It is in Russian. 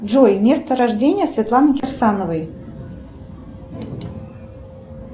джой место рождения светланы кирсановой